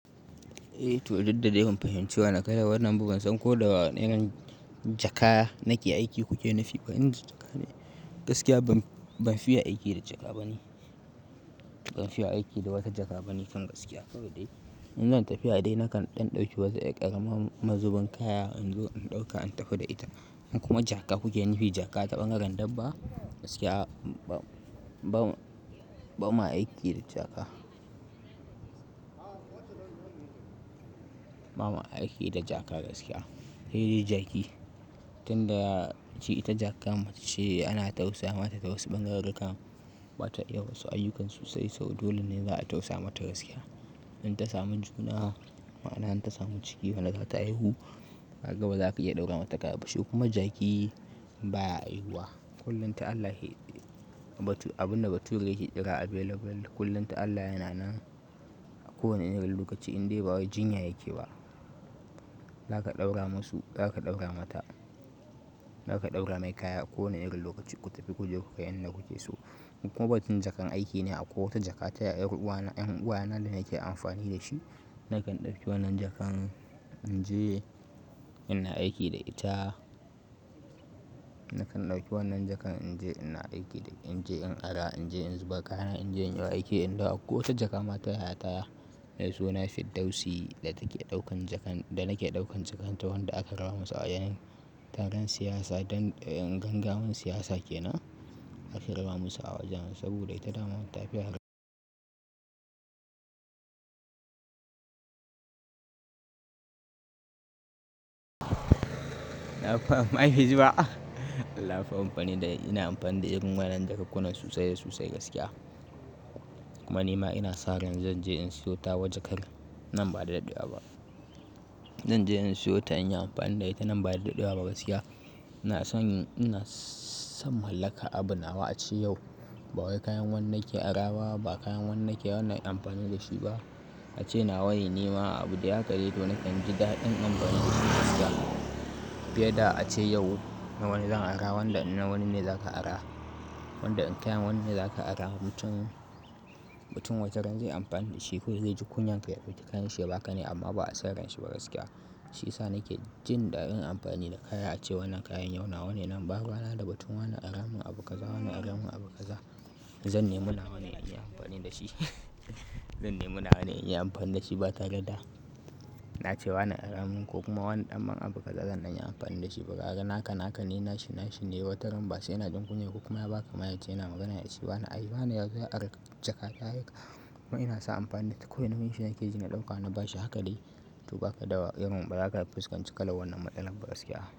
Eh, to duk da dai ku fahimci wa na kaya wannan abu ban san ko da wa irin jaka na ke aiki kuke nufi. Ban ji jaka ne. Gaskiya ban fiya aiki da jaka bane. Ban fiya aiki da wata jaka ba ni kan gaskiya. Saboda in zan tafi a dai nakan ɗan ɗauki wata ƙarama mazuban kaya in zo in ɗauka in tafi da ita. In kuma jaka kuke nufi jaka taɓangaren dabba gaskiya ba ma aiki da jaka. Ba ma a aiki da jaka gaskiya. Eh dai jaki tun da ji ita jaka mace ana tausaya mata tausin ɓangararu kan bata iya wasu ayyukan sosai saboda dole ne za a tausaya mata gaskiya. In ta samu juna ma'ana in ta samu ciki wani zata haihu, kaga ba zaka iya ɗaura mata ƙaya ba shi kuma jaki baya haihuwa. Kullum ta Allah abun da baturai ke kira available kullum ta Allah yana nan a kowane irin lokaci indai ba wai jinya yake ba. Zaka ɗaura masu, zaka ɗaura mata, zaka ɗaura mai kaya a kowane irin lokaci ku tafi ku je ku kayi yanda kuke so. In kuma batun jakan aiki ne akwai wata jaka ta 'yar uwa na 'yan uwa na da nake amfani da shi. Nakan ɗauki wannan jakan in je ina aiki da ita. Nakan ɗauki wannan jakan in je ina aiki da in je in ara in je in zuba kaya, in je in yi aiki. Inda akwai wata jakama ta yayata mai suna Fiddausi da take ɗaukan jakan da nake ɗaukan jakan ta wanda aka raba musu. Yanin taron siyasa don gangamin siyasa kenan aka raba musu wajan saboda ita dama matafiya har na fahimci ba. Allah fa ina amfani da ita. Ina amfani da irin wannan jakukkunan sosai da sosai gaskiya. Kuma ni ma ina sa ran zan je in siyo tawa jakan nan ba da dadewa ba. Zan je in siyo ta in yi amfani da ita nan ba da dadewa ba gaskiya. Na san in na sammalaƙa abu nawa a ce yau ba wai kayan wani nake ara ba ba kayan wannan ke wannan in yi amfani da shi ba. A ce nawa ne ni ma abu da ya akayi domin nakan jidadin anfani sosai gaskiya. Fiye da a ce yau nawane zan ara wanda nawane ne zaka ara. Wanda kayan wannan ne zaka ara matun, batun wataran zai yi amfani da shi ko zai ji kunyar ya dauki kayan shi ba ka ne amma ba'a sanar shin ba gaskiya. Shi sa nake jin ɗadin amfani da kaya a ce wannan kayan yau nawa ne nan ba ruwana da batun wannan ara mun abu kaza wannan ara mun abu kaza. Zan nemi nawa ne in yi amfani da shi. Zan nemi nawa ne in yi amfani da shi ba tare da na ce wannan ara mun ko kuma wannan ɗan man abu kaza zan an yi amfani da shi ba. Ga naka naka, ni nashi nashi. Eh wataran basai yana jin kunya kuma ya baka ma ya ce yana magana da shi wane yazo ya ara jaka ta haika. Kuma ina san amfani da kowai naushi ne ke ji na ɗauka na bashi haka dai. To ba ka da irinn bazaka fuskanci kallan wannan matsalan ba gaskiya.